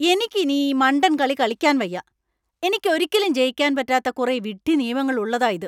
എനിക്ക് ഇനി ഈ മണ്ടൻ കളി കളിക്കാൻ വയ്യാ. എനിയ്ക്ക് ഒരിക്കലും ജയിക്കാൻ പറ്റാത്ത കുറെ വിഡ്ഢി നിയമങ്ങൾ ഉള്ളതാ ഇത്.